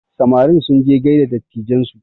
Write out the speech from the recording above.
Samarin sunje gaida dattijan su